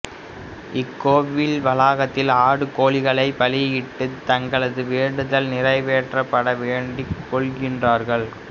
இக்கோவில் வளாகத்தில் ஆடு கோழிகளை பலியிட்டு தங்களது வேண்டுதல் நிறைவேற்றபட வேண்டிக்கொள்கிறார்கள்